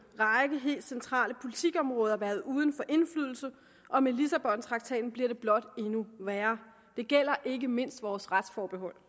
række helt centrale politikområder været uden for indflydelse og med lissabontraktaten bliver det blot endnu værre det gælder ikke mindst vores retsforbehold